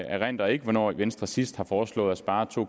erindrer ikke hvornår venstre sidst har foreslået at spare to